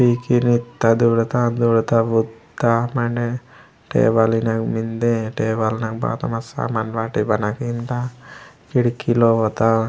पिक्की नित्ता दौडता बुत्ता मेंडे टेबल ईनेग मेन्दे टेबल मगे बाता मति सामान बना किमुता खिड़की लोवत्ता।